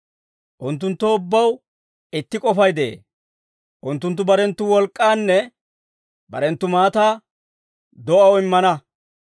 Unttunttoo ubbaw itti k'ofay de'ee; unttunttu barenttu wolk'k'aanne barenttu maataa do'aw immana.